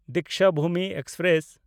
Dikshabhoomi express